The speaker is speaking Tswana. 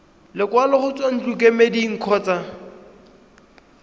lekwalo go tswa ntlokemeding kgotsa